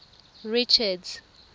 richards